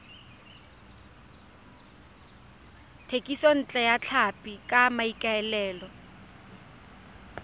thekisontle ya tlhapi ka maikaelelo